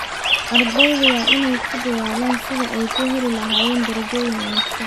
Ardaydu waa inay ku dadaalaan sidii ay u heli lahaayeen darajooyin wanaagsan.